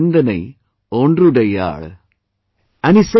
एनिर्सिन्दनैओंद्दुडैयाळ enil sindanai onDruDaiyaaL